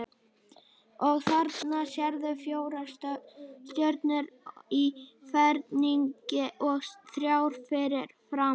Og þarna sérðu fjórar stjörnur í ferningi og þrjár fyrir framan.